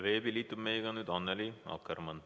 Veebi abil liitub meiega nüüd Annely Akkermann.